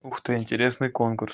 ух ты интересный конкурс